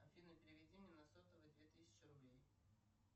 афина переведи мне на сотовый две тысячи рублей